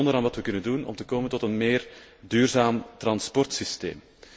Ik denk in het bijzonder aan wat we kunnen doen om te komen tot een meer duurzaam transportsysteem.